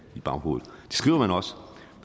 i baghovedet